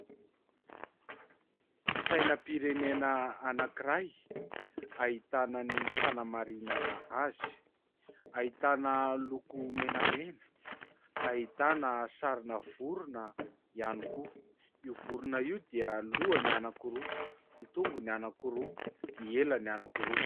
Sainam_pirenena anakiray ahitana ny fanamarinana azy. Ahitana loko menamena, ahitana sary vorona ihany koa. Io vorona io dia lohany anakiroa, tongony anakiroa, elany anakiroa.